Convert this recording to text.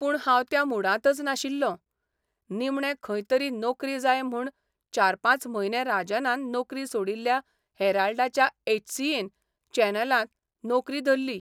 पूण हांव त्या मुडांतच नाशिल्लों निमणे खंय तरी नोकरी जाय म्हूण चार पांच म्हयने राजनान नोकरी सोडिल्ल्या हेराल्डाच्या एचसीएन चॅनलांत नोकरी धरली.